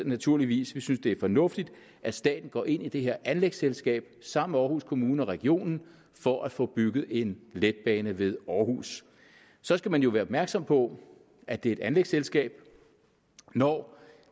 naturligvis vi synes det er fornuftigt at staten går ind i det her anlægsselskab sammen med aarhus kommune og regionen for at få bygget en letbane ved aarhus så skal man jo være opmærksom på at det er et anlægsselskab når